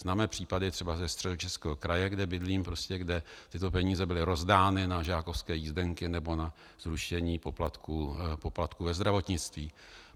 Známe případy třeba ze Středočeského kraje, kde bydlím, kde tyto peníze byly rozdány na žákovské jízdenky nebo na zrušení poplatků ve zdravotnictví.